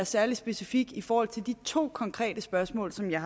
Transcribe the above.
særlig specifik i forhold til de to konkrete spørgsmål som jeg